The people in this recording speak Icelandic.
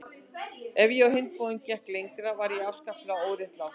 Ef ég á hinn bóginn gekk lengra var ég afskaplega óréttlát.